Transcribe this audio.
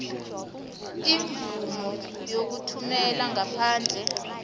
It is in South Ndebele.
imvumo yokuthumela ngaphandle